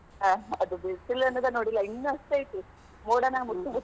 ಹಾ ಆದ್ ಬಿಸಲ್ ಅನ್ನೂದ ನೋಡಿಲ್ಲ ಇನ್ನು ಅಷ್ಟ ಐತಿ.